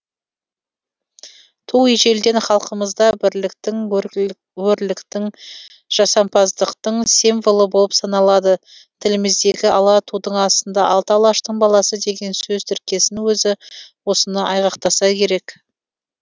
ту ежелден халқымызда бірліктің өрліктің жасампаздықтың символы болып саналады тіліміздегі ала тудың астында алты алаштың баласы деген сөз тіркесінің өзі осыны айғақтаса керек